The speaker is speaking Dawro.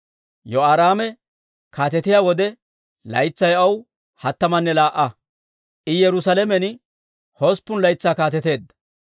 Yehoraame kaatetiyaa wode laytsay aw hattamanne laa"a; I Yerusaalamen hosppun laytsaa kaateteedda.